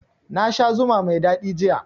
Na sha zuma mai daɗi jiya